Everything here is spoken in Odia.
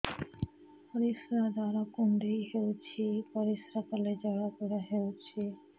ପରିଶ୍ରା ଦ୍ୱାର କୁଣ୍ଡେଇ ହେଉଚି ପରିଶ୍ରା କଲେ ଜଳାପୋଡା ହେଉଛି